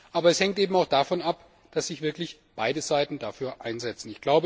Aber es hängt eben auch davon ab, dass sich wirklich beide Seiten dafür einsetzen.